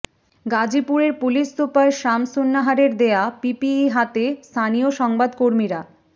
গাজীপুরের police super শামসুন্নাহারের দেয়া পিপিই হাতে স্থানীয় সংবাদকর্মীরা